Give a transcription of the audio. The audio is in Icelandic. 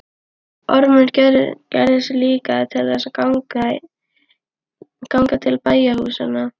Ormur gerði sig líklegan til þess að ganga til bæjarhúsanna.